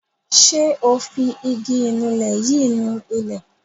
Ṣé o fi igi ìnulẹ̀ yìí ni ilẹ̀.